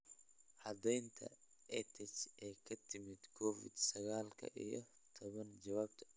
Caddeynta EdTech ee ka timid Covid sagaal iyo tobbaan Jawaabta.